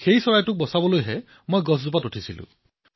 সেই চৰাইটোক বচোৱাৰ বাবে মই গছত উঠিছিলো